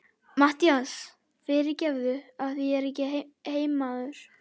MATTHÍAS: Fyrirgefðu, af því ég er ekki heimamaður.